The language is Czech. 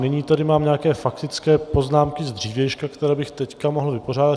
Nyní tady mám nějaké faktické poznámky z dřívějška, které bych teď mohl vypořádat.